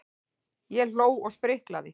Ég hló og spriklaði.